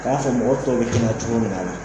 A y'a fɔ mɔgɔ tɔw bɛ kɛnɛya cogo min na